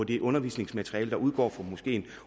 det undervisningsmateriale der udgår fra moskeen